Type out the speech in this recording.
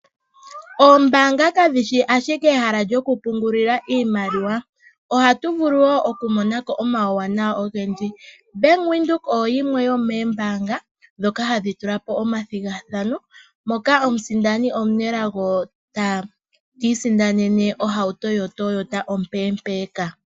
Oombanga kadhishi ashike dhokupungula iimaliwa .Ohatu vulu woo okumona ko omawuwanawa ogendji. Ombanga yaVenduka (Bank Windhoek)oyo yimwe yomeembanga dhoka hadhi tula po omathigathano. Moka omusindani omunelago ta sindana ohauto yoToyota ompempeka.